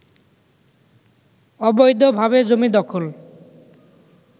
অবৈধভাবে জমি দখল